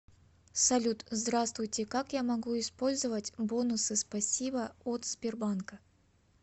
салют здравствуйте как я могу использовать бонусы спасибо от сбербанка